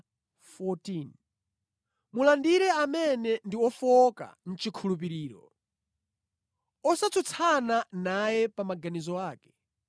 Mulandire amene ndi ofowoka mʼchikhulupiriro, osatsutsana naye pa maganizo ake.